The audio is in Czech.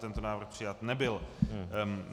Tento návrh přijat nebyl.